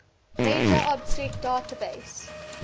major object database